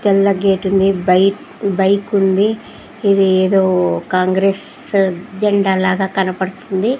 తెల్ల గేటు ఉంది bike bike ఉంది ఇది ఏదో కాంగ్రెస్ జెండా లాగా కనపడుతుంది.